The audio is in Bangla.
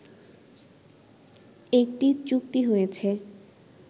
একটি চুক্তি হয়েছে